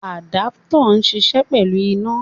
Àdápútọ̀ ń ṣiṣẹ́ pẹ̀lú iná.